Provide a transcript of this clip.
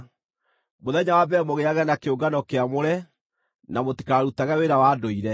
Mũthenya wa mbere mũgĩage na kĩũngano kĩamũre na mũtikarutage wĩra wa ndũire.